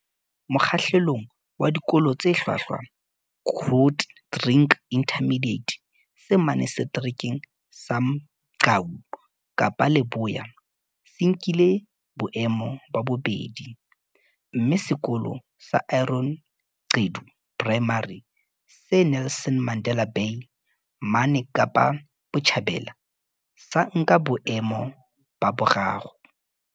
Mokgahlelong wa Dikolo tse Hlwahlwa, Grootdrink Intermediate, se mane Seterekeng sa Mgcawu, Kapa Leboya, se nkile boemo ba bobedi, mme Sekolo sa Aaron Gqedu Primary, se Nelson Mandela Bay mane Kapa Botjhabela, sa nka boemo ba boraro.